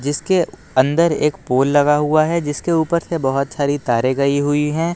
इसके अंदर एक पोल लगा हुआ है जिसके ऊपर से बहोत सारी तारे गई हुई हैं।